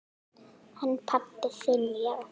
Hann pabbi þinn, já.